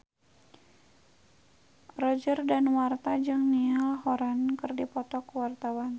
Roger Danuarta jeung Niall Horran keur dipoto ku wartawan